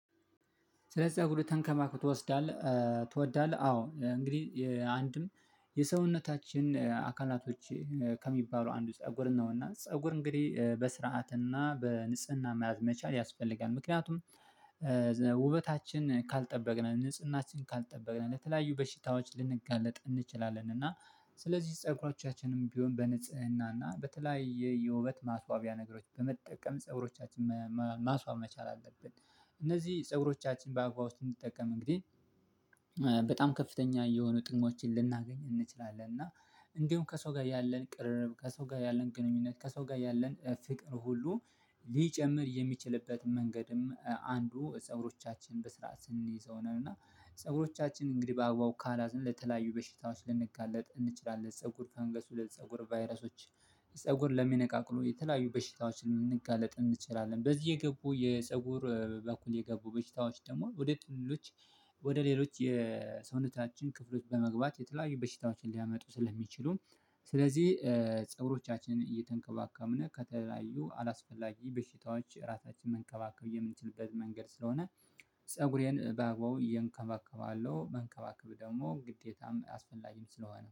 ስለዚህ ጸጉርህ ተንከባክቶ ትወስዳለህ ትወዳለህ? አዎ እንግዲህ አንድም የሰውነታችን አካላቶች ከሚባሉ አንዱ ፀጉር ነው። እና ፀጉር እንግዲህ በስርዓት እና በንጽህና መያዝ መቻል ያስፈልጋል። ምክንያቱም ውበታችን ካልጠበቅንን ንጽህናችን ካልጠበቅንን ለተለያዩ በሽታዎች ልንጋለጥ እንችላለን። እና ስለዚህ ፀጉሮቻችም ቢሆን በንጽህና እና በተለያየ የውበት ማስዋቢያ ነገሮች በመጠቀም ፀጉሮቻችን ማስዋብ መቻል አለብን። እነዚህ ፀጉሮቻችን በአግባቡ ስንጠቀም እንግዲህ በጣም ከፍተኛ የሆኑ ጥቅሞችን ልናገኝ እንችላለን። እና እንደውም ከሰው ጋር ያለን ቅርርብ ከሰው ጋር ያለን ግንኙነት ከሰው ጋር ያለን ፍቅር ሁሉ ሊጨምር የሚችልበት መንገድም አንዱ ፀጉሮቻችን በስርዓት ስንይዘው ነው። እና ፀጉሮቻችን እንግዲህ በአግባቡ ካላዝን ለተለያዩ በሽታዎች ልንጋለጥ እንችላለን ፀጉር ፋንገስ ለፀጉር ቫይረሶች ፀጉር ለሚነቃቅሉ የተለያዩ በሽታዎችን ልንጋለጥ እንችላለን። በዚህ የገቡ የፀጉር በኩል የገቡ በሽታዎች ደግሞ ወደ ጥልሎች ወደ ሌሎች የሰውነታችን ክፍሎች በመግባት የተለያዩ በሽታዎችን ሊያመጡ ስለሚችሉም። ስለዚህ ፀጉሮቻችን እየተንከባከብን ከተለያዩ አላስፈላጊ በሽታዎች ራሳችንን መንከባከብ የምንችልበት መንገድ ስለሆነ። ፀጉሬን ባግባቡ እየንከባከባለሁ መንከባከብ ደግሞ ግዴታም አስፈላጊም ስለሆነ